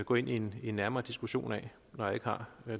gå ind i en nærmere diskussion af når jeg ikke har